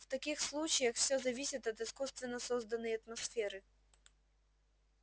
в таких случаях все зависит от искусственно созданной атмосферы